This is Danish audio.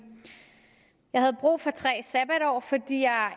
jeg havde brug for tre sabbatår fordi jeg